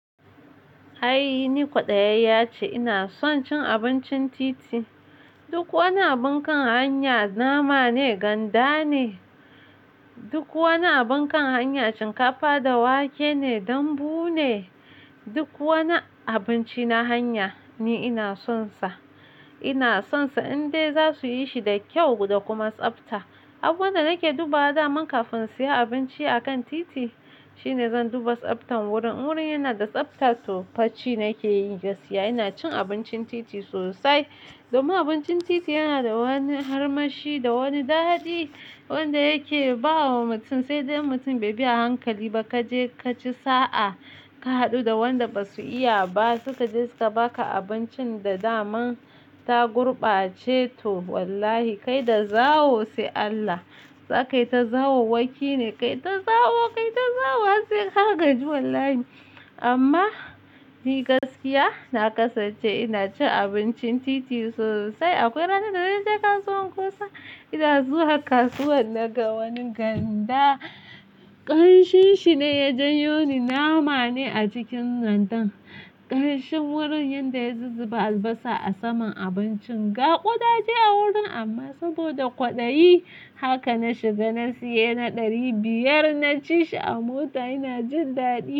Ai ni kwaɗayayya ce ina son cin abincin titi. Duk wani abun kan hanya nama ne, ganda ne. Duk wani abun kan hanya shinkafa da wake ne, dambu ne. Duk wani abinci na hanya ni ina son sa. Ina son sa in dai za su yi shi da kyau da kuma tsafta. Abunda nake dubawa daman kafin in saya abinci a kan titi shine zan duba tsaftan wurin. In wurin yana da tsafta to fa ci nake yi gaskiya. Ina cin abincin titi sosai domin abincin titi yana da wani armashi, da wani daɗi wanda yake ba wa mutum, sai dai in mutum bai bi a hankali ba, kaje kaci sa'a ka haɗu da wanda basu iya ba suka je suka baka abincin da daman ta gurɓace to wallahi kai da zawo sai Allah. Za kayi ta zawowwaki ne, kayi ta zawo kayi ta zawo har sai ka gaji wallahi. Amma ni gaskiya na kasance ina cin abincin titi sosai. Akwai ranar da naje kasuwan kusa, ina zuwa kasuwar naga wani ganda, ƙamshin shi ne ya janyo ni, nama ne a cikin gandan ƙamshin wurin yanda ya zuzzuba albasa a saman abincin, ga ƙuda dai a wurin amma sabida kwaɗayi haka na shiga na saya na ɗari biyar na ci shi a mota ina jin daɗi.